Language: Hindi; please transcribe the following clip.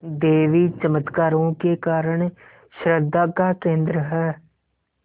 देवी चमत्कारों के कारण श्रद्धा का केन्द्र है